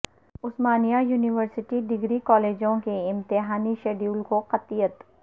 عثمانیہ university degree کالجوں کے امتحانی شیڈول کو قطعیت